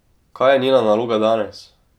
Kaj je njena naloga danes?